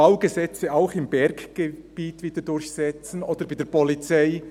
«Baugesetze auch im Berggebiet wieder durchsetzen», oder bei der Polizei: